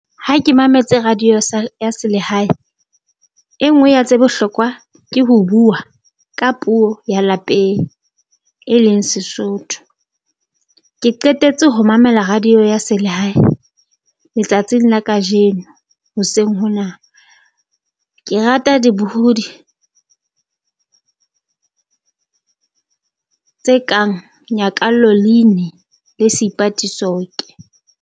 Ha ke mametse radio sa ya selehae, e nngwe ya tse bohlokwa ke ho bua ka puo ya lapeng, e leng Sesotho. Ke qetetse ho mamela radio ya selehae letsatsing la kajeno hoseng hona, ke rata dibohodi tse kang Nyakallo Leine le Seipati Soke.